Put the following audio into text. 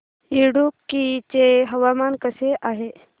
इडुक्की चे हवामान कसे आहे